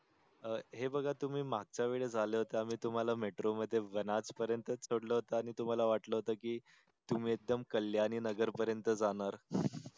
अह हे बघा तुम्ही मागच्या वेळी आले होते आम्ही तुम्हाला metro मध्ये नाच पर्यंत सोडल होत आणि तुम्हाला वाटल होत कि तुम्ही एकदम कल्याणी नगर पर्यंत जाणार.